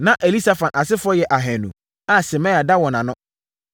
Na Elisafan asefoɔ yɛ ahanu (200) a Semaia da wɔn ano.